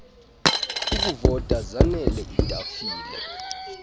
okuvota zaanele iitafile